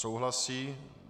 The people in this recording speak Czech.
Souhlasí.